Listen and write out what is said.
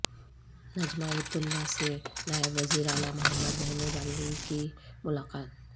Najma Heptulla سے نائب وزیر اعلی محمد محمود علی کی ملاقات